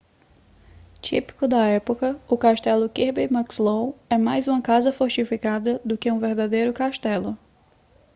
típico da época o castelo kirby muxloe é mais uma casa fortificada do que um verdadeiro castelo